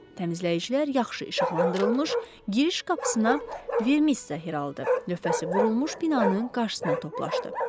Təmizləyicilər yaxşı işıqlandırılmış giriş qapısına Vermis Sahiraldı lövhəsi vurulmuş binanın qarşısına toplaşdı.